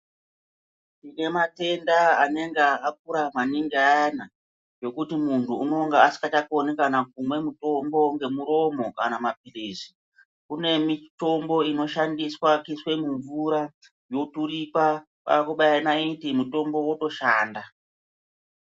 Tine matenda anenge akura maningi ayani zvokuti muntu unonga asingachakoni kana kumwa mutombo ngemuromo kana maphirizi, kune mitombo inoshandiswe kuiswe mumvura yoturikwa kwakubaya ndaiti mutombo wotoshanda.